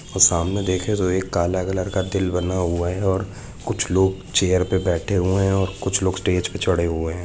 और सामने देखे तो एक काला कलर का तिल बना हुआ है और कुछ लोग चेयर पर बेठे हुए हैं ओर कुछ लोग स्टेज पे चड़े हुए हैं